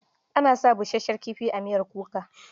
Ana sa busasshen kifi a miyar kuka.